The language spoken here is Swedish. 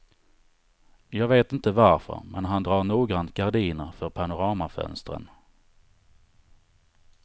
Jag vet inte varför, men han drar noggrant gardiner för panoramafönstren.